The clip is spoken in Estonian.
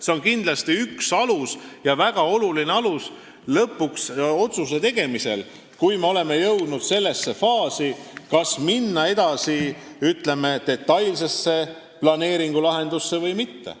See on kindlasti üks ja väga oluline alus otsuse tegemisel, kui me oleme jõudnud sellesse faasi, kas minna edasi, ütleme, detailse planeeringulahendusega või mitte.